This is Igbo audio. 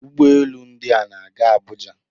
Ụgbọ elu ndị a na-aga Abuja